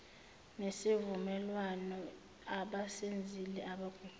nesivumelwano abasenzile abaguquli